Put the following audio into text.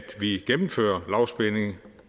vi gennemfører lavspænding